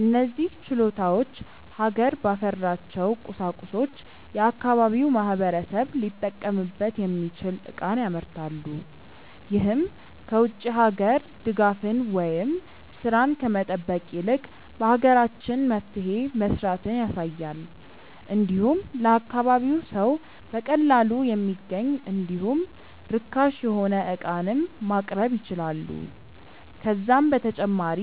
እነዚህ ችሎታዎች ሀገር ባፈራቸው ቁሳቁሶች የአካባቢው ማህበረሰብ ሊጠቀምበት የሚችል ዕቃን ያመርታሉ። ይህም ከ ውጭ ሀገራት ድጋፍን ወይም ስራን ከመጠበቅ ይልቅ በሀገራችን መፍትሄ መስራትን ያሳያል። እንዲሁም ለአካባቢው ሰው በቀላሉ የሚገኝ እንዲሁም ርካሽ የሆነ ዕቃንም ማቅረብ ይችላሉ። ከዛም በተጨማሪ